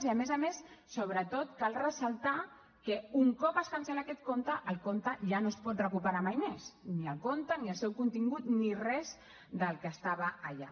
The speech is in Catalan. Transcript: i a més a més sobretot cal ressaltar que un cop es cancel·la aquest compte el compte ja no es pot recuperar mai més ni el compte ni el seu contingut ni res del que estava allà